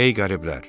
Ey qəriblər!